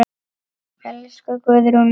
Elsku Guðrún mín.